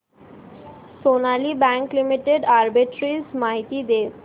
Sonali bank limited arbitrage माहिती दे